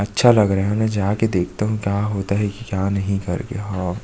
अच्छा लग रहा है और मै जाके देखता हूँ क्या होता है की क्या नहीं करके हव।